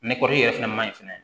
yɛrɛ fɛnɛ ma ɲi fɛnɛ